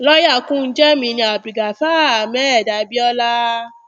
lọ́yà kúnjẹ mi ní abdulgafar ahmed abiọla